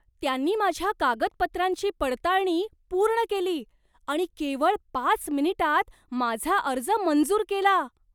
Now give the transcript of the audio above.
त्यांनी माझ्या कागदपत्रांची पडताळणी पूर्ण केली आणि केवळ पाच मिनिटांत माझा अर्ज मंजूर केला!